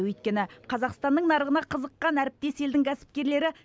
өйткені қазақстанның нарығына қызыққан әріптес елдің кәсіпкерлері